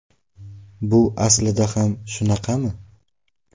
Bu aslida ham shunaqami?